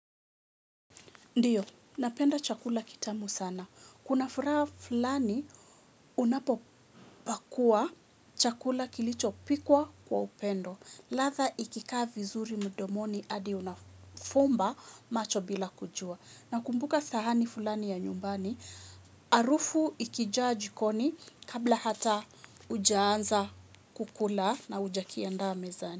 Ndiyo, napenda chakula kitamu sana. Kuna furaha fulani unapopakua chakula kilicho pikwa kwa upendo. Ladha ikikaa vizuri mdomoni hadi unafumba macho bila kujua. Na kumbuka sahani fulani ya nyumbani, harufu ikijaa jikoni kabla hata hujaanza kukula na hujakiandaa mezani.